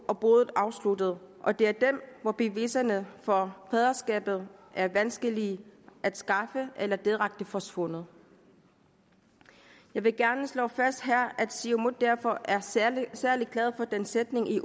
og boet afsluttet og det er dem hvor beviserne for faderskabet er vanskelige at skaffe eller direkte forsvundet jeg vil gerne her slå fast at siumut derfor er særlig særlig glade for den sætning i